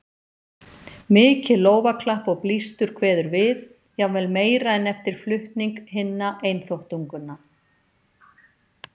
Mikið lófaklapp og blístur kveður við, jafnvel meira en eftir flutning hinna einþáttunganna.